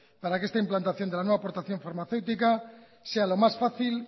para que esta implantación de la nueva aportación farmacéutica sea lo más fácil